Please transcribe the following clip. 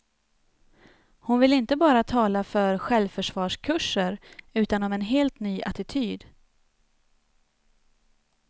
Hon vill inte bara tala för självförsvarskurser, utan om en helt ny attityd.